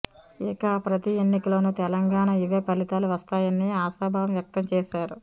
ఇక ప్రతి ఎన్నికలోనూ తెలంగాణలో ఇవే ఫలితాలు వస్తాయని ఆశాభావం వ్యక్తం చేశారు